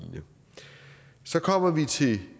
så kommer vi til